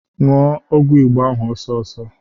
Ṅụọ ọgwụ Igbo ahụ ọsọọsọ!